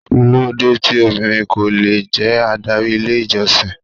Kí ló dé tí obìnrin ko lè jẹ́ adárí ilé ìjọsìn?